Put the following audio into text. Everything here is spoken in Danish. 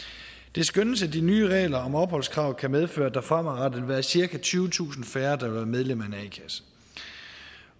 det skønnes at de nye regler om opholdskrav kan medføre at der fremadrettet vil være cirka tyvetusind færre der vil være medlem